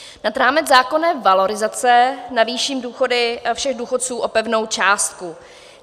Nad rámec zákonné valorizace navýším důchody všech důchodců o pevnou částku.